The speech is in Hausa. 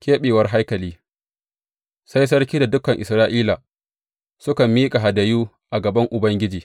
Keɓewar haikali Sai sarki da dukan Isra’ila, suka miƙa hadayu a gaban Ubangiji.